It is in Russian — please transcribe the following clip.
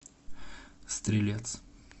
стрелец